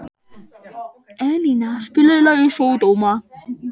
Elíná, spilaðu lagið „Sódóma“.